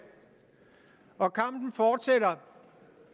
og kampen fortsætter